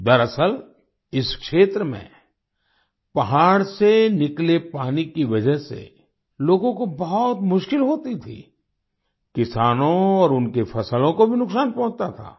दरअसल इस क्षेत्र में पहाड़ से निकले पानी की वजह से लोगों को बहुत मुश्किल होती थी किसानों और उनकी फसलों को भी नुकसान पहुँचता था